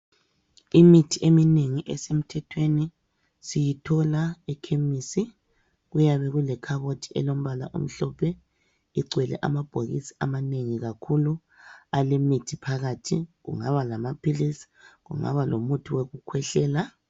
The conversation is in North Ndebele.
Imithi eminengi esemthethweni siyithola ekhemisi, kuyabe kulekhabothi elombala omhlophe ligcwele amabhokisi amanengi kakhulu alemithi phakathi, kungaba lamaphilizi kungaba lomuthi wokukhwehlela.